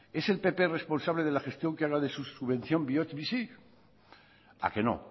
es el pp responsable de la gestión que haga de su subvención bihotz bizi a que no